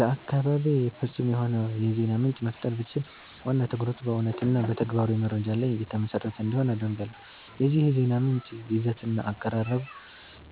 ለአካባቤ ፍጹም የሆነ የዜና ምንጭ መፍጠር ብችል፣ ዋና ትኩረቱ በእውነትና በተግባራዊ መረጃ ላይ የተመሰረተ እንዲሆን አደርጋለሁ። የዚህ የዜና ምንጭ ይዘትና አቀራረብ